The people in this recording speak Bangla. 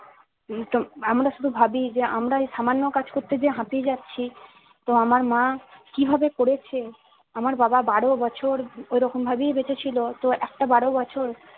আমরা শুধু ভাবি যে আমরা এই সামান্য কাজ করতে যেয়ে হাঁপিয়ে যাচ্ছি তো আমার মা কি ভাবে করেছে আমার বাবা বারো বছর ঐরকম ভাবেই বেঁচে ছিল তো একটা বারো বছর